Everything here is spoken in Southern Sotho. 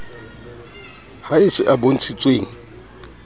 ha e se a bontshitsweng